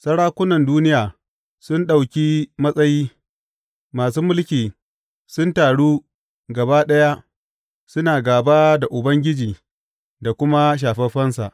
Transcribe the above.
Sarakunan duniya sun ɗauki matsayi masu mulki sun taru gaba ɗaya suna gāba da Ubangiji da kuma Shafaffensa.